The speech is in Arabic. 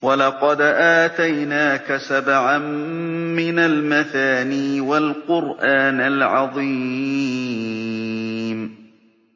وَلَقَدْ آتَيْنَاكَ سَبْعًا مِّنَ الْمَثَانِي وَالْقُرْآنَ الْعَظِيمَ